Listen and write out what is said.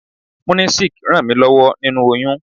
Munisik ràn mí lọ́wọ́ nínu oyún.